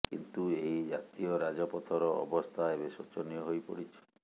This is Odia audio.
କିନ୍ତୁ ଏହି ଜାତୀୟ ରାଜପଥର ଅବସ୍ଥା ଏବେ ଶୋଚନୀୟ ହୋଇପଡିଛି